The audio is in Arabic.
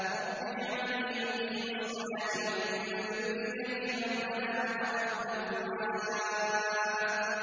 رَبِّ اجْعَلْنِي مُقِيمَ الصَّلَاةِ وَمِن ذُرِّيَّتِي ۚ رَبَّنَا وَتَقَبَّلْ دُعَاءِ